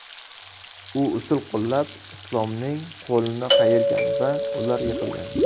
U usul qo‘llab, Islomning qo‘lini qayirgan va ular yiqilgan.